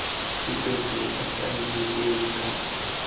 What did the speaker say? tshupetso ya faele e ka